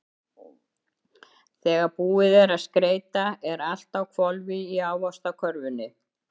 Þegar búið er að skreyta er allt á hvolfi í Ávaxtakörfunni.